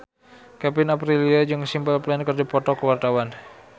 Kevin Aprilio jeung Simple Plan keur dipoto ku wartawan